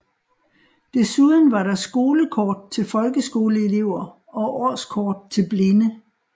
Desuden var der skolekort til folkeskoleelever og årskort til blinde